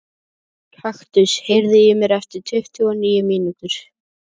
Kaktus, heyrðu í mér eftir tuttugu og níu mínútur.